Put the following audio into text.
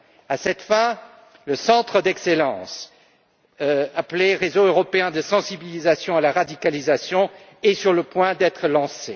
À cette fin, le centre d'excellence, appelé réseau européen de sensibilisation à la radicalisation, est sur le point d'être lancé.